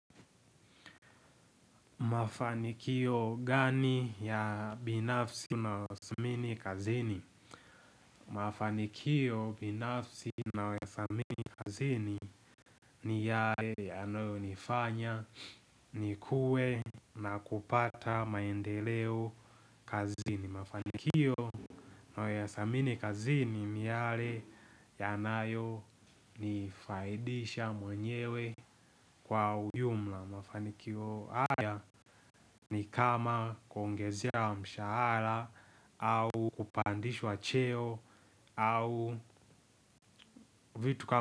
Mafanikio gani ya binafsi na unaothamini kazini? Mafanikio binafsi naweza mik kazini ni yale yanayo nifanya nikuwe na kupata maendeleo kazini. Mafanikio nayo yasamini kazini ni yale yanayo nifaidisha mwenyewe kwa ujumla. Mafanikio haya ni kama kuongezea mshahara. Au kupandishwa cheo au vitu kama.